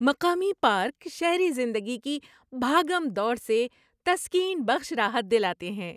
مقامی پارک شہری زندگی کی بھاگم دوڑ سے تسکین بخش راحت دلاتے ہیں۔